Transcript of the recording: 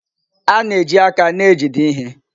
A na-eji aka na-ejide ihe.